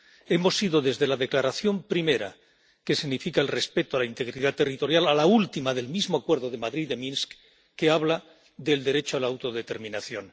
Hemos ido desde la declaración primera, que significa el respeto a la integridad territorial, a la última del mismo acuerdo de Madrid de Minsk, que habla del derecho a la autodeterminación.